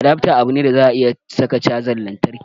Adafta abu ne da za a iya saka cajan lantarki